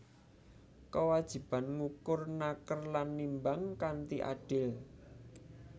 Kewajiban ngukur naker lan nimbang kanthi adil